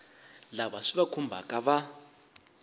lava swi va khumbhaka va